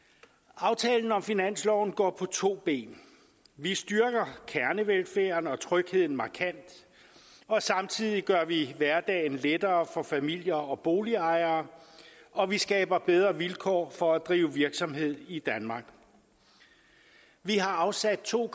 aftalen om finansloven går på to ben vi styrker kernevelfærden og trygheden markant og samtidig gør vi hverdagen lettere for familier og boligejere og vi skaber bedre vilkår for at drive virksomhed i danmark vi har afsat to